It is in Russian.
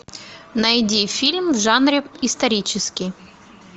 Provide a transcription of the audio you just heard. найди фильм в жанре исторический